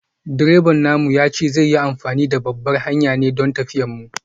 Direban namu ya ce zai yi amfani da babbar hanyar ne don tafiyar mu.